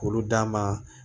K'olu d'a ma